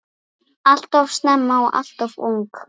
Alltof snemma og alltof ung.